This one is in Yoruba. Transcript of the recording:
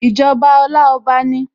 Ìjọba Ọláọba ni